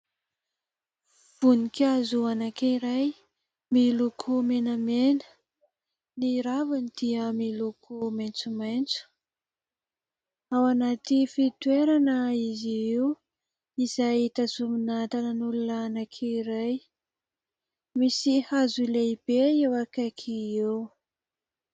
Voninkazo anankiray miloko menamena. Ny raviny dia miloko maintsomaintso. Ao anaty fitoerana izy io izay tazomina tananan'olona anankiray. Misy hazo lehibe eo akaiky eo.